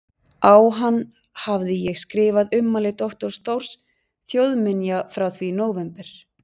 Á hann hafði ég skrifað ummæli doktors Þórs þjóðminja frá því í nóvember